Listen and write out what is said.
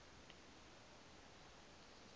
vhura